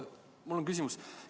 Mul on küsimus.